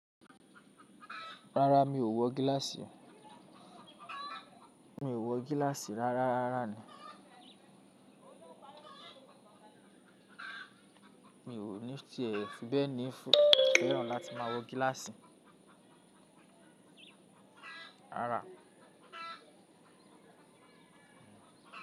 Rárá mi ò wọ gíláàsì, mi ò wọ gíláàsì rárá rárá ni. Mi ò ní tìẹ́, ṣùgbọ́n ní fẹ́ràn láti máa wọ gíláàsì. Rárá.